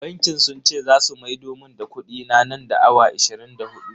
Bankin sun ce zasu maido mun da kudina nan da awa ashirin da hudu.